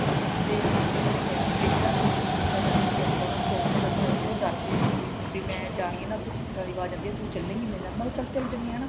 ਤੇ ਮੈਨੂੰ ਕਿਸੇ ਨੇ ਕਿਹਾ ਮੇਰੀ ਨਾ sister ਜਾਂਦੀ ਸੀ ਉੱਥੇ ਉਹਨਾ ਨੇ ਚੋੰਕੀਆਂ ਦੱਸਿਆਂ ਸੀਗੀਆਂ ਉਹ ਡਰਦੀ ਸੀਗੀ ਵੀ ਮੈਂ ਜਾਣੀ ਆ ਨਾ ਉੱਥੇ ਚੀਕਾਂ ਦੀ ਆਵਾਜ ਆਉਂਦੀ ਹੈ ਤੂੰ ਚੱਲੇਗੀ ਮੇਰੇ ਨਾਲ ਮੈਂ ਕਿਹਾ ਚੱਲ ਚਲੀ ਜਾਣੀ ਹਾਂ ਹਨਾ